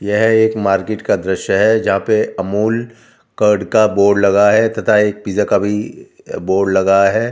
यह एक मार्केट का दृश्य है जहां पे अमूल कार्ड का बोर्ड लगा है तथा एक पिज्जा का भी बोर्ड लगा है।